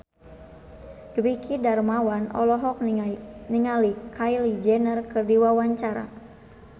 Dwiki Darmawan olohok ningali Kylie Jenner keur diwawancara